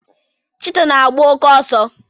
Chita na agba oke ọsọ